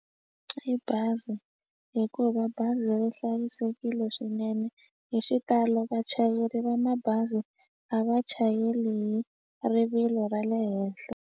I bazi hikuva bazi ri hlayisekile swinene hi xitalo vachayeri va mabazi a va chayeli hi rivilo ra le henhle.